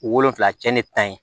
Wolonfila cɛnni ta ye